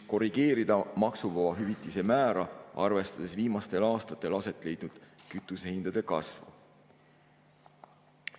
Korrigeerida maksuvaba hüvitise määra, arvestades viimastel aastatel aset leidnud kütusehindade kasvu.